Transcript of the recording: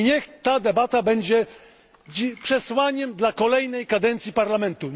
Niech ta debata będzie przesłaniem dla kolejnej kadencji Parlamentu.